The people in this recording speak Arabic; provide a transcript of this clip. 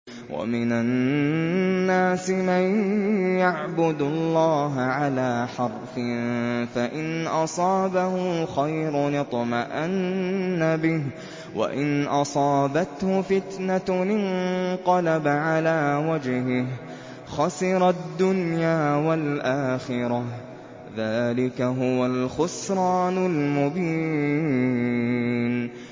وَمِنَ النَّاسِ مَن يَعْبُدُ اللَّهَ عَلَىٰ حَرْفٍ ۖ فَإِنْ أَصَابَهُ خَيْرٌ اطْمَأَنَّ بِهِ ۖ وَإِنْ أَصَابَتْهُ فِتْنَةٌ انقَلَبَ عَلَىٰ وَجْهِهِ خَسِرَ الدُّنْيَا وَالْآخِرَةَ ۚ ذَٰلِكَ هُوَ الْخُسْرَانُ الْمُبِينُ